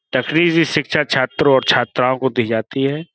तकरीजी शिक्षा छात्रों और छात्राओं को दी जाती है।